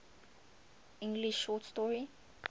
english short story